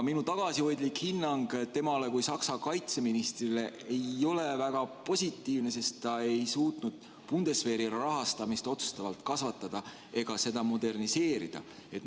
Minu tagasihoidlik hinnang temale kui Saksa kaitseministrile ei ole väga positiivne, sest ta ei suutnud Bundeswehri rahastamist otsustavalt kasvatada ega seda moderniseerida.